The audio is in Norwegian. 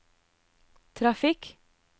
trafikk